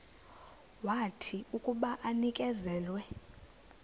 wathi akuba enikezelwe